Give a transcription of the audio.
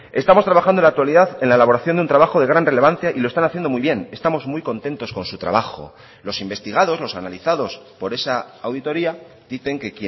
estamos trabajando en la actualidad en la elaboración de un trabajo de gran relevancia y lo están haciendo muy bien estamos muy contentos con su trabajo los investigados los analizados por esa auditoría dicen que